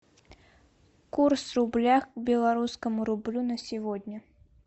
курс рубля к белорусскому рублю на сегодня